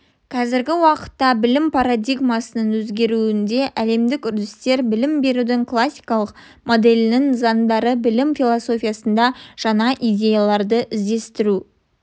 қазіргі уақытта білім парадигмасының өзгеруіндегі әлемдік үрдістер білім берудің классикалық моделінің заңдары білім философиясында жаңа идеяларды іздестіру